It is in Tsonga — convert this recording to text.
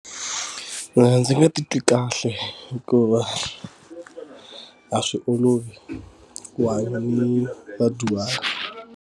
Mina ndzi nga titwi kahle hikuva a swi olovi ku hanya ni vadyuhari.